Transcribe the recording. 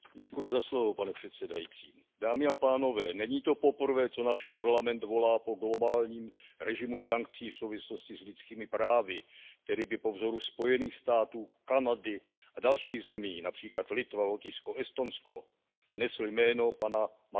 Pane předsedající, není to poprvé, co náš Parlament volá po globálním režimu sankcí v souvislosti s lidskými právy, který by po vzoru Spojených států amerických, Kanady a dalších zemí, například Litvy, Lotyšska, Estonska, nesl jméno pana Magnitského.